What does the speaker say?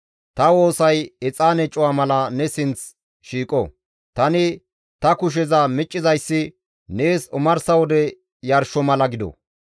Ta woosay exaane cuwa mala ne sinth shiiqo; tani ta kusheza miccizayssi nees omarsa wode yarsho mala gido.